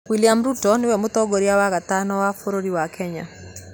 Willam Ruto niwe mũtongoria wa gatano wa bũrũri wa Kenya